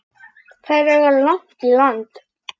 Þær eiga langt í land.